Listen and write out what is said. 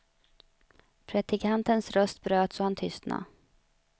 Predikantens röst bröts och han tystnade.